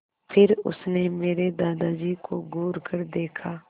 फिर उसने मेरे दादाजी को घूरकर देखा